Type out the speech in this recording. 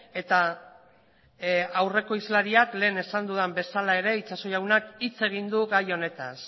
eta aurreko hizlariak lehen esan duda bezala ere itxaso jaunak hitz egin du gai honetaz